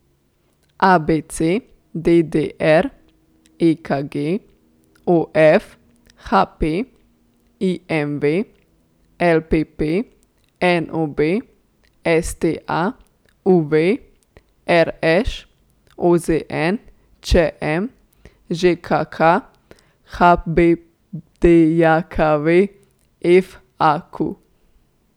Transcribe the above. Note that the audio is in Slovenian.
A B C; D D R; E K G; O F; H P; I M V; L P P; N O B; S T A; U V; R Š; O Z N; Č M; Ž K K; H B D J K V; F A Q.